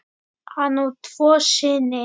Hann á tvo syni.